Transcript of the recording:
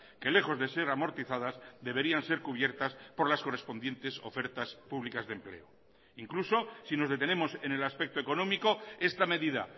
que lejos de ser amortizadas deberían ser cubiertas por las correspondientes ofertas públicas de empleo incluso si nos detenemos en el aspecto económico esta medida